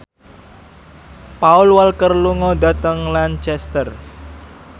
Paul Walker lunga dhateng Lancaster